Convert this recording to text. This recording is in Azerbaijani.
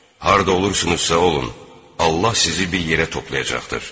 Harda olursunuzsa olun, Allah sizi bir yerə toplayacaqdır.